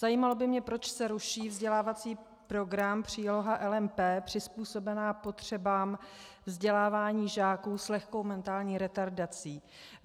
Zajímalo by mě, proč se ruší vzdělávací program příloha LMP, přizpůsobená potřebám vzdělávání žáků s lehkou mentální retardací.